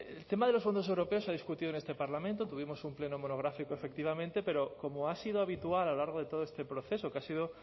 el tema de los fondos europeos se ha discutido en este parlamento tuvimos un pleno monográfico efectivamente pero como ha sido habitual a lo largo de todo este proceso que ha sido